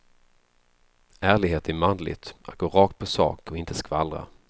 Ärlighet är manligt, att gå rakt på sak och inte skvallra.